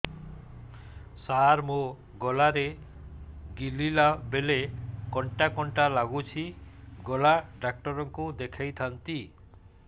ସାର ମୋ ଗଳା ରେ ଗିଳିଲା ବେଲେ କଣ୍ଟା କଣ୍ଟା ଲାଗୁଛି ଗଳା ଡକ୍ଟର କୁ ଦେଖାଇ ଥାନ୍ତି